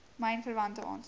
myn verwante aansoeke